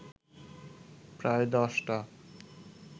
প্রায় দশটা